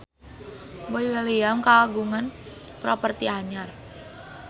Boy William kagungan properti anyar